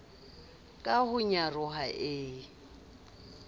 ka ho nyaroha e e